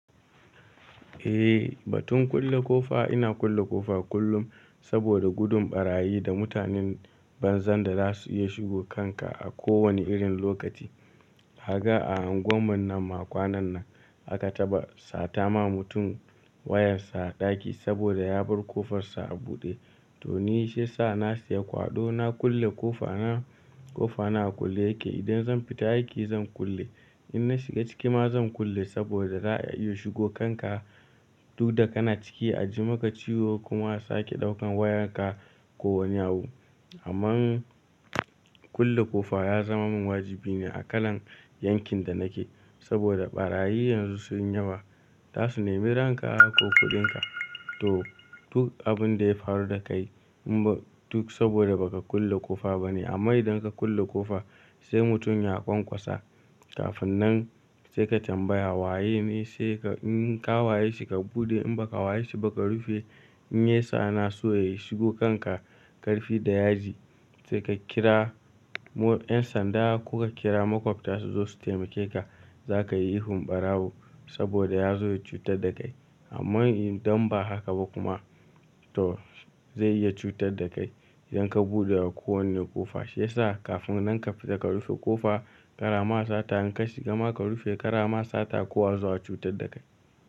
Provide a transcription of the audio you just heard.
Eh, batun kulle ƙofa ina kulle ƙofa kullum saboda gudun ɓarayi da mutanen banza da za su iya shigo kanka a kowane irin lokaci. Haka a unguwar mu nan ma kwanan nan aka taɓa sata ma mutum wayarsa a ɗaki saboda ya bar ƙofarsa a buɗe. To ni shi ya sa na siya kwaɗo na kulle ƙofa na. Ƙofa na a kulle yake. Idan zan fita aiki zan kulle, in na shiga ciki ma zan kulle saboda za a iya shigo kanka duk da kana ciki a ji maka ciwo kuma a sake ɗaukan wayarka ko wani abu. Amma kulle ƙofa ya zama min wajibi ne a kalan yankin da nake saboda ɓarayi yanzu sun yi yawa. Za su nemi ranka ko kuɗinka to duk abun da ya faru da kai duk saboda ba ka kulle ƙofa ba ne. Amma idan ka kulle ƙofa sai mutum ya ƙwaƙwasa, kafin nan sai ka tambaya waye ne, in ka waye shi ka buɗe in ba ka waye shi ba ka rufe in ya sa na so ya shigo kanka ƙarfi da yaji sai ka kira 'yan sanda ko ka kira makwabta su zo su taimake ka, za ka yi ihun ɓarawo saboda ya zo ya cutar da kai. Amma idan ba haka ba kuma to zai iya cutar da kai idan ka buɗe wa kowane ƙofa. Shi ya sa kafin nan ka fita ka rufe ƙofa, ƙara ma sata in ka shiga ma ka rufe ƙara ma sata kowa zuwa cutar da kai.